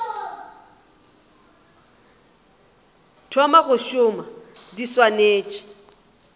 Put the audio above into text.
thoma go šoma di swanetše